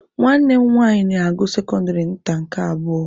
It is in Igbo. Nwanne m nwanyi na-agụ sekọndịrị nta nke abụọ.